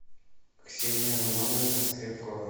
ксения романовна скрепкова